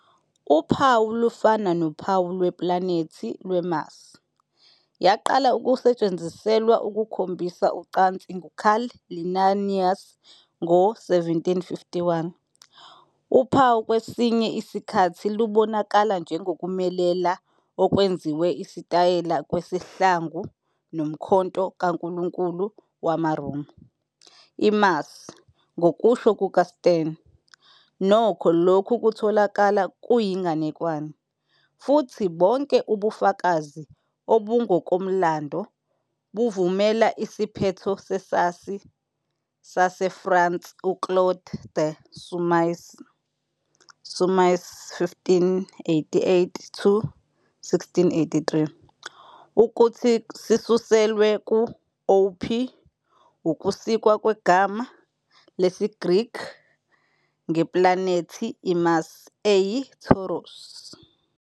Uphawu lufana nophawu lweplanethi lweMars. Yaqala ukusetshenziselwa ukukhombisa ucansi nguCarl Linnaeus ngo-1751. Uphawu kwesinye isikhathi lubonakala njengokumelela okwenziwe isitayela kwesihlangu nomkhonto kankulunkulu wamaRoma. IMars. Ngokusho kukaStearn, nokho, lokhu kutholakala "kuyinganekwane" futhi bonke ubufakazi obungokomlando buvumela "isiphetho sesazi saseFrance uClaude de Saumaise, Salmasius, 1588-1683," ukuthi "sisuselwe" ku-θρ, ukusikwa kwegama lesiGreki ngeplanethi iMars, "eyiThouros".